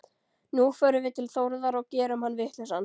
Nú förum við til Þórðar og gerum hann vitlausan.